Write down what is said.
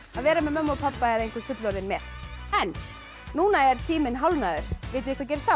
að vera með mömmu og pabba eða einhvern fullorðinn með en núna er tíminn hálfnaður vitið þið hvað gerist þá